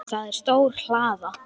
Það er stór hlaða.